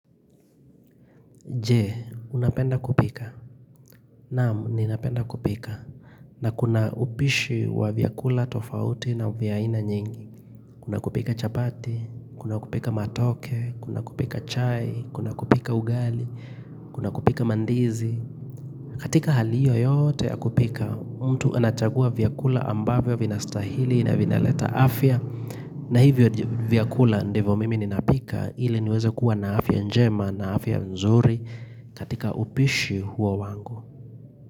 Je, unapenda kupika. Naam, ninapenda kupika. Na kuna upishi wa vyakula tofauti na vya ina nyingi. Kuna kupika chapati, kuna kupika matoke, kuna kupika chai, kuna kupika ugali, kuna kupika mandizi. Katika hali hiyo yote ya kupika, mtu anachagua vyakula ambavyo vina stahili na vina leta afya. Na hivyo vyakula ndivo mimi ninapika, hile niweza kuwa na afya njema na afya nzuri. Katika upishi huo wangu.